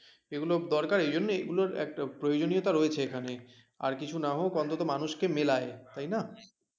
এগুলো দরকার এইজন্য এগুলোর একটা প্রয়োজনীয়তা রয়েছে এখানে আর কিছু না হোক অন্তত মানুষকে মেলায় তাই না